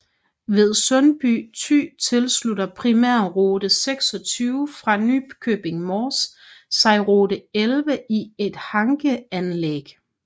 Ved Sundby Thy tilslutter primærrute 26 fra Nykøbing Mors sig rute 11 i et hankeanlæg